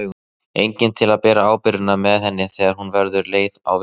Enginn til að bera byrðarnar með henni þegar hún verður leið á vinnunni.